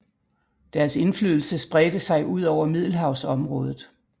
Deres indflydelse spredte sig udover Middelhavsområdet